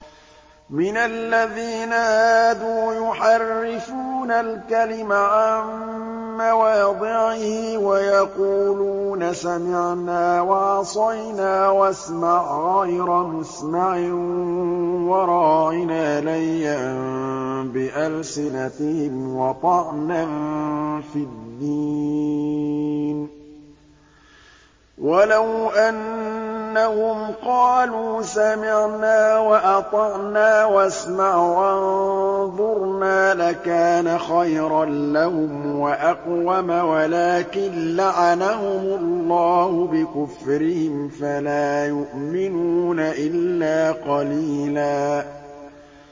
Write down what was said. مِّنَ الَّذِينَ هَادُوا يُحَرِّفُونَ الْكَلِمَ عَن مَّوَاضِعِهِ وَيَقُولُونَ سَمِعْنَا وَعَصَيْنَا وَاسْمَعْ غَيْرَ مُسْمَعٍ وَرَاعِنَا لَيًّا بِأَلْسِنَتِهِمْ وَطَعْنًا فِي الدِّينِ ۚ وَلَوْ أَنَّهُمْ قَالُوا سَمِعْنَا وَأَطَعْنَا وَاسْمَعْ وَانظُرْنَا لَكَانَ خَيْرًا لَّهُمْ وَأَقْوَمَ وَلَٰكِن لَّعَنَهُمُ اللَّهُ بِكُفْرِهِمْ فَلَا يُؤْمِنُونَ إِلَّا قَلِيلًا